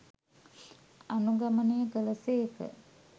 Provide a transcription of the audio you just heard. අනුගමනය කළ සේක.